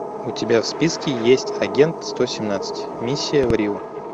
у тебя в списке есть агент сто семнадцать миссия в рио